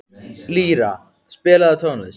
Lýra, spilaðu tónlist.